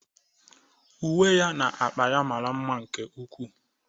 Uwe oyi na akpa ya mara mma nke ukwuu.